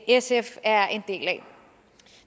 sf er en del af